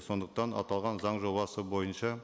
сондықтан аталған заң жобасы бойынша